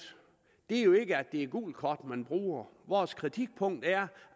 er jo ikke at det er et gult kort man bruger vores kritikpunkt er